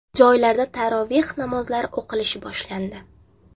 Joylarda taroveh namozlari o‘qilishi boshlandi.